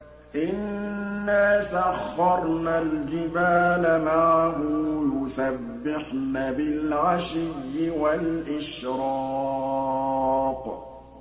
إِنَّا سَخَّرْنَا الْجِبَالَ مَعَهُ يُسَبِّحْنَ بِالْعَشِيِّ وَالْإِشْرَاقِ